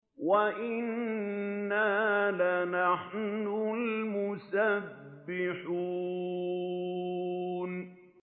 وَإِنَّا لَنَحْنُ الْمُسَبِّحُونَ